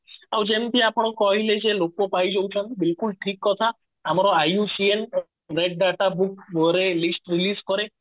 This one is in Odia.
ଆଉ ଯେମତି ଆପଣ କହିଲେ ଯେ ଲୋପ ପାଇ ଯାଉଛନ୍ତି ବିଲକୁଲ ଠିକ କଥା ଆମର IUCN red data book କରେ